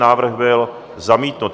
Návrh byl zamítnut.